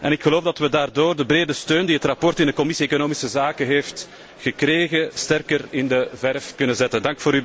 Ik geloof dat we daardoor de brede steun die het verslag in de Commissie economische zaken heeft gekregen, sterker in de verf kunnen zetten.